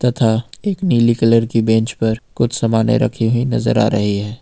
तथा एक नीली कलर की बेंच पर कुछ सामानें रखी हुई नजर आ रही है।